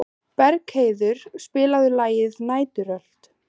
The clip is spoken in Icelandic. Bergheiður, spilaðu lagið „Næturrölt“.